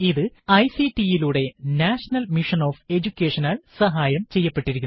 ഇത് ഐസിടി യിലൂടെ national mission on എജുകേഷനാൽ സഹായം ചെയ്യപ്പെട്ടിരിക്കുന്നു